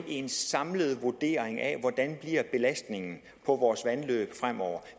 en samlet vurdering af hvordan belastningen på vores vandløb fremover